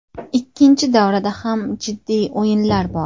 Ikkinchi davrada ham jiddiy o‘yinlar bor.